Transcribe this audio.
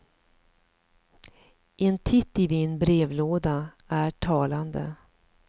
En titt i min brevlåda är talande.